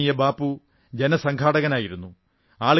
പൂജനീയ Bapu ജനസംഘാടകനായിരുന്നു